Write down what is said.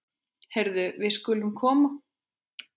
Heyrðu, við skulum koma.